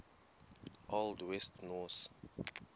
old west norse